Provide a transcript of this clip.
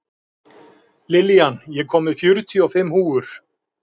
Fyrirboðar tengjast gjarna söfnun kviku í kvikuhólf.